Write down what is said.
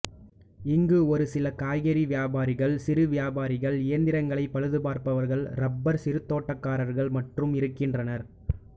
இங்கு ஒரு சில காய்கறி விவசாயிகள் சிறு வியாபாரிகள் இயந்திரங்களைப் பழுதுபார்ப்பவர்கள் ரப்பர் சிறுதோட்டக்காரர்கள் மட்டுமே இருக்கின்றனர்